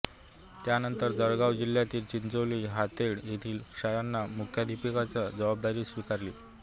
त्यानंतर जळगाव जिल्ह्यातील चिंचोली हातेड येथील शाळांच्या मुख्याधापकाची जबाबदारी स्वीकारली